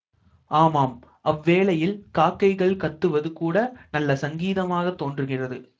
ஆமாம் அவ்வேளையில் காக்கைகள் கத்துவது கூட நல்ல சங்கீதமாக தோன்றுகிறது